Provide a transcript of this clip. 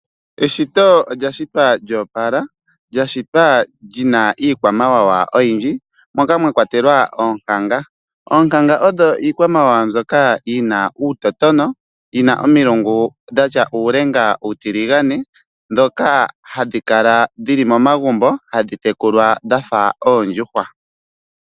Eshito olya shitwa lyoopala, lya shitwa lyina iikwamawawa oyindji moka mwa kwatelwa oonkanga. Oonkanga odho iikwamawawa mbyoka yina uutotona, yina omilungu dhatya uulenga uutiligane, ndhoka hadhi kala dhili momagumbo hadhi tekulwa dhafa oondjuhwa.